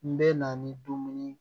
N bɛ na ni dumuni